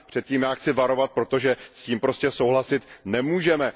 A před tím já chci varovat, protože s tím prostě souhlasit nemůžeme.